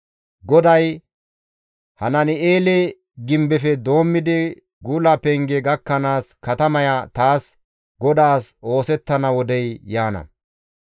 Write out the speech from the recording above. GODAY, «Hanani7eele Gimbefe doommidi gula penge gakkanaas katamaya taas GODAAS oosettana wodey yaana.